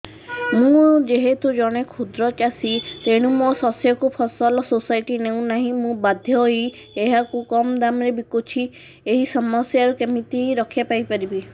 ମୁଁ ଯେହେତୁ ଜଣେ କ୍ଷୁଦ୍ର ଚାଷୀ ତେଣୁ ମୋ ଶସ୍ୟକୁ ଫସଲ ସୋସାଇଟି ନେଉ ନାହିଁ ମୁ ବାଧ୍ୟ ହୋଇ ଏହାକୁ କମ୍ ଦାମ୍ ରେ ବିକୁଛି ଏହି ସମସ୍ୟାରୁ କେମିତି ରକ୍ଷାପାଇ ପାରିବି